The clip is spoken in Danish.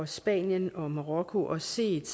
spanien og marokko og har set